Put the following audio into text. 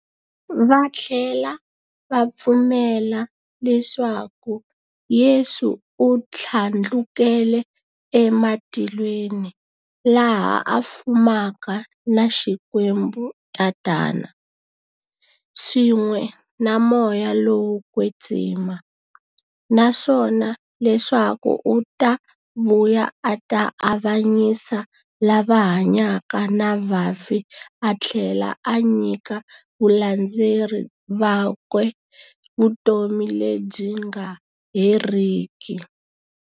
Vathlela va pfumela leswaku Yesu u thlandlukele e matilweni, laha a fumaka na Xikwembu-Tatana, swin'we na Moya lowo kwetsima, naswona leswaku u ta vuya a ta avanyisa lava hanyaka na vafi athlela a nyika valandzeri vakwe vutomi lebyi nga heriki.